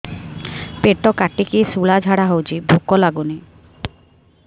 ପେଟ କାଟିକି ଶୂଳା ଝାଡ଼ା ହଉଚି ଭୁକ ଲାଗୁନି